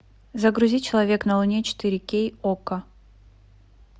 загрузи человек на луне четыре кей окко